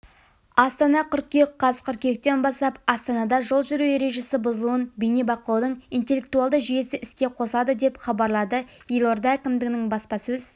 астана қыркүйек қаз қыркүйектен бастап астанада жол жүру ережесі бұзылуын бейне бақылаудың интеллектуалды жүйесі іске қосылады деп хабарлады елорда әкімдігінің баспасөз